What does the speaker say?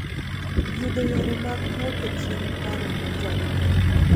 Yudo yore mag duoko chien paro mojony ber.